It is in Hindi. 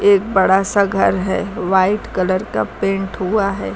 एक बड़ा सा घर है व्हाइट कलर का पेंट हुआ है।